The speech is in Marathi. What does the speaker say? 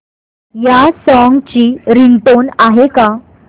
या सॉन्ग ची रिंगटोन आहे का